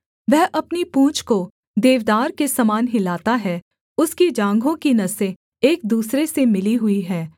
वह अपनी पूँछ को देवदार के समान हिलाता है उसकी जाँघों की नसें एक दूसरे से मिली हुई हैं